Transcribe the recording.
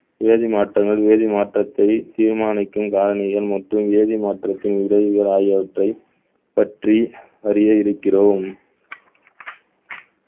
வேதி மாற்றங்கள் வேதி மாற்றத்தை தீர்மானிக்கும் மற்றும் வேதி மாற்றத்தின் இடையூறுகள் ஆகியவற்றை பற்றி அறிய இருக்கிறோம்